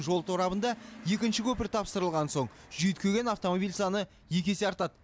жол торабында екінші көпір тапсырылған соң жүйткіген автомобиль саны екі есе артады